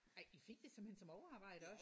Ej I fik det simpelthen som overarbejde også?